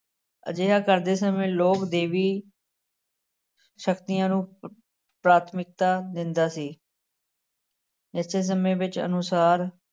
ਅਜਿਹਾ ਕਰਦੇ ਸਮੇਂ ਲੋਕ ਦੇਵੀ ਸ਼ਕਤੀਆਂ ਨੂੰ ਪ੍ਰਾਥਮਿਕਤਾ ਦਿੰਦਾ ਸੀ ਸਮੇਂ ਵਿੱਚ ਅਨੁਸਾਰ